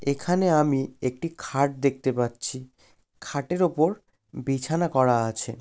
এখানে আমি একটি খাট দেখতে পাচ্ছি। খাটের ওপর বিছানা করা আছে।